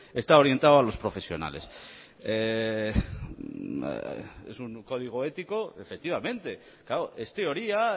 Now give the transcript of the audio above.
está orientado a los profesionales es un código ético efectivamente claro es teoría